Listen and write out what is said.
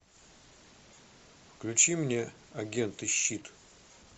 включи мне агенты щит